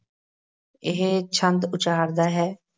ਇਹ ਛੰਦ ਉਚਾਰਦਾ ਹੈ